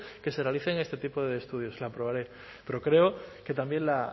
que se realicen este tipo de estudios la aprobaré pero creo que también la